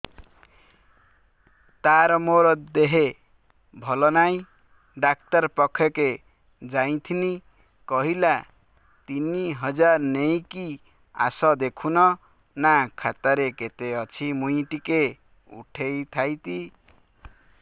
ତାର ମାର ଦେହେ ଭଲ ନାଇଁ ଡାକ୍ତର ପଖକେ ଯାଈଥିନି କହିଲା ତିନ ହଜାର ନେଇକି ଆସ ଦେଖୁନ ନା ଖାତାରେ କେତେ ଅଛି ମୁଇଁ ଟିକେ ଉଠେଇ ଥାଇତି